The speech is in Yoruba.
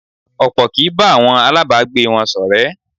Ọ̀pọ̀ kì í bá àwọn aláàbágbé wọn ṣọ̀rẹ́.